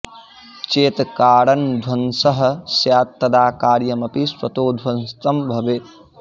चेत् कारणध्वंसः स्यात् तदा कार्यमपि स्वतो ध्वस्तं भवेत्